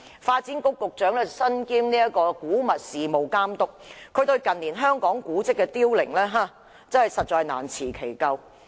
發展局局長身兼古物事務監督，對於近年香港古蹟的凋零實在難辭其咎。